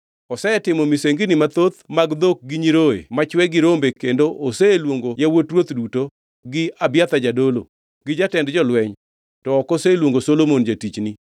Osetimo misengini mathoth mag dhok gi nyiroye machwe gi rombe kendo oseluongo yawuot ruoth duto gi Abiathar jadolo gi jatend jolweny to ok oseluongo Solomon jatichni.